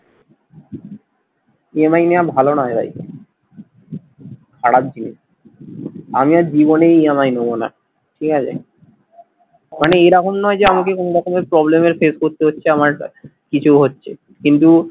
EMI নেয়া ভালো নয় ভাই খারাপ জিনিস আমি আর জীবনে EMI নেবো না ঠিক আছে মানে এরকম নয় যে আমাকে কোনো রকমের problem এর face করতে হচ্ছে আমার একটা কিছু হচ্ছে কিন্তু